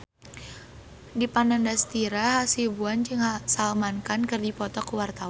Dipa Nandastyra Hasibuan jeung Salman Khan keur dipoto ku wartawan